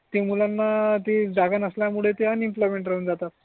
ते मुलांना ते जागा नसल्या मूळे ते अनएम्प्लॉयमेंट राहून जातात.